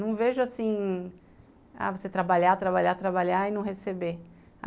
Não vejo assim, você trabalhar, trabalhar, trabalhar e não receber.